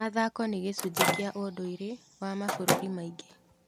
Mathako nĩ gĩcunjĩ kĩa ũndũire wa mabũrũri maingĩ.